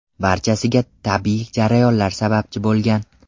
Barchasiga tabiiy jarayonlar sababchi bo‘lgan.